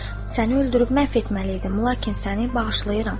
Səni öldürüb məhv etməli idim, lakin səni bağışlayıram.